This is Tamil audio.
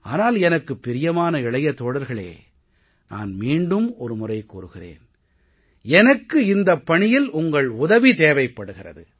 ஆனால் எனக்குப் பிரியமான இளைய தோழர்களே நான் மீண்டும் ஒரு முறை கூறுகிறேன் எனக்கு இந்தப் பணியில் உங்கள் உதவி தேவைப்படுகிறது